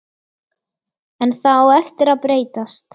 En það á eftir að breytast.